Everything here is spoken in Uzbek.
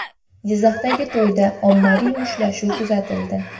Jizzaxdagi to‘yda ommaviy mushtlashuv kuzatildi .